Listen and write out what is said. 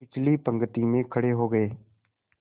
पिछली पंक्ति में खड़े हो गए